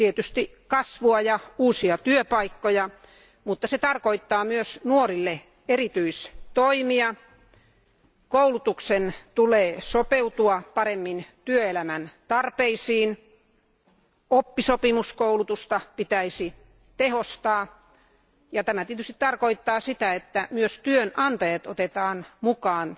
Tietysti kasvua ja uusia työpaikkoja, mutta se tarkoittaa myös nuorille eritystoimia, koulutuksen tulee sopeutua paremmin työelämän tarpeisiin, oppisopimuskoulutusta pitäisi tehostaa. Tämä tietysti tarkoittaa sitä, että myös työnantajat otetaan mukaan